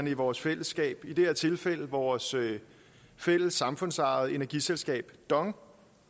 i vores fællesskab i det her tilfælde vores fælles samfundsejede energiselskab dong